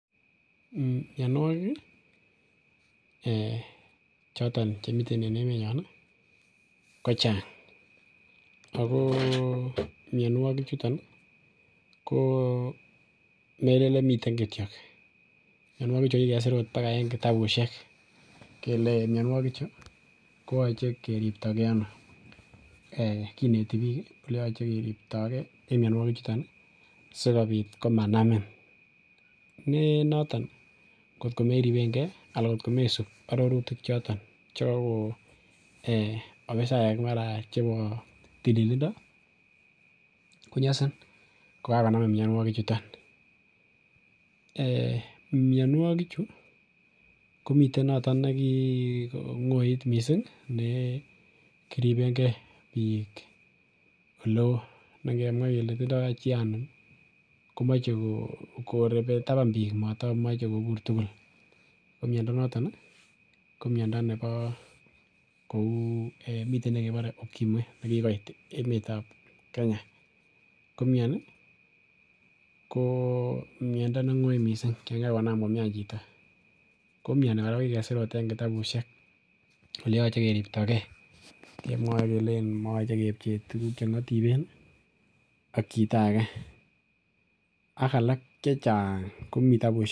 Ee mionuokik ee choton chemiten en emenyon ii kochang ako mionuokichuton ii komelellen miten kityok, mionuokichu kokikesur bakait kitabushek kele mionuk koyoche keripto kee ono ee kineti bik ii eleyoche keripto kee en mionuokichuton sikobit komanamin nenoton ngot komeribengee ansn kot komesib ororutichoto chekoko afisaek chemaraa chebo tililindo konyosin kokakonamin mionuokichuton, ee mionuokichu komiten noton nekikongoit missing' nekiribengee bik oleo nengemwaa kele tindo chi anum komoche korobe taban bik motomoche kobur tugul ko miondo noton ko miondo nebo kou miten nekebore ukimwi nekikoit emetab Kenya komioni ko miondo nengoi missing' yon kakonam komian chito komioni kokikesir koraa ot en kitabushek oleyoche keripto kee kemwoe kele moyoche kepchee tuguk chengotiben ak chito akee ak alak.